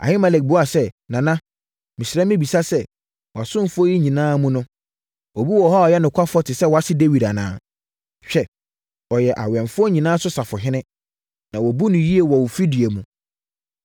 Ahimelek buaa sɛ, “Nana, mesrɛ mebisa sɛ, wʼasomfoɔ yi nyinaa mu no, obi wɔ hɔ a ɔyɛ nokwafoɔ te sɛ wʼase Dawid anaa? Hwɛ ɔyɛ wʼawɛmfoɔ nyinaa so safohene, na wɔbu no yie wɔ wo fidua mu.